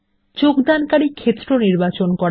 যোগদানকারী ক্ষেত্র নির্বাচন করা